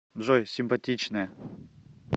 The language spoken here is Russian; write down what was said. джой симпатичная